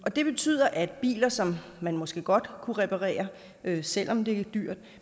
det betyder at biler som man måske godt kunne reparere selv om det er dyrt